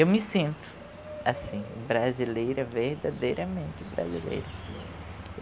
Eu me sinto, assim, brasileira, verdadeiramente brasileira.